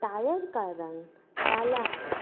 Tyre का रंग काला है।